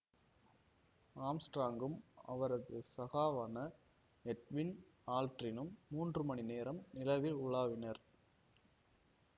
ஆம்ஸ்ட்ராங்கும் அவரது சகாவான எட்வின் ஆல்ட்ரினும் மூன்று மணி நேரம் நிலவில் உலாவினர்